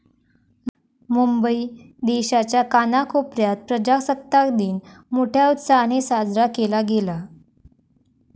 मुंबई देशाच्या कानाकोपऱ्यात प्रजासत्ताक दिन मोठ्या उत्साहाने साजरा केला गेला.